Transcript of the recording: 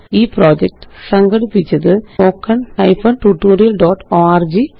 ഈ പ്രൊജക്റ്റ് സംഘടിപ്പിച്ചത് httpspoken tutorialorg